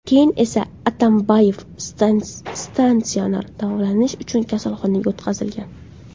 Keyin esa Atambayev statsionar davolanish uchun kasalxonaga o‘tkazilgan.